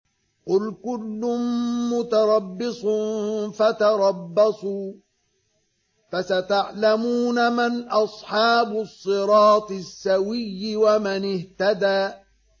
قُلْ كُلٌّ مُّتَرَبِّصٌ فَتَرَبَّصُوا ۖ فَسَتَعْلَمُونَ مَنْ أَصْحَابُ الصِّرَاطِ السَّوِيِّ وَمَنِ اهْتَدَىٰ